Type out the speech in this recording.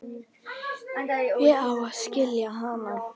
Ég á að skilja hana.